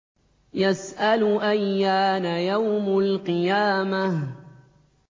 يَسْأَلُ أَيَّانَ يَوْمُ الْقِيَامَةِ